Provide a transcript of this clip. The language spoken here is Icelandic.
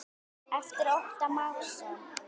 eftir Ottó Másson